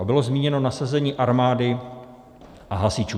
A bylo zmíněno nasazení armády a hasičů.